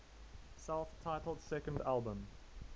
self titled second album